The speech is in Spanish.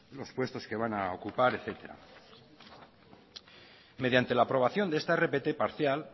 los puestos que van a ocupar etcétera mediante la aprobación de esta rpt parcial